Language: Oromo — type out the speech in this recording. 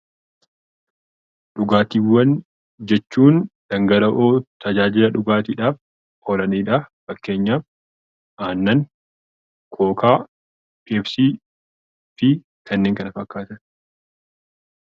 Dhugaatiiwwan jechuun dhangala'oo tajaajila dhugaatiidhaaf oolanidha. Fakkeenyaaf aannan, kookaa , peepsii fi kanneen kana fakkaatan.